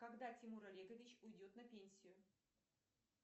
когда тимур олегович уйдет на пенсию